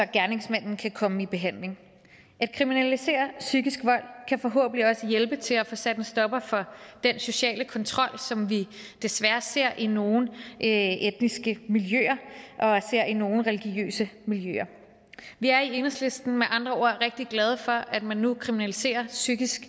gerningsmanden kan komme i behandling at kriminalisere psykisk vold kan forhåbentlig også hjælpe til at få sat en stopper for den sociale kontrol som vi desværre ser i nogle etniske miljøer og i nogle religiøse miljøer vi er i enhedslisten med andre ord rigtig glade for at man nu kriminaliserer psykisk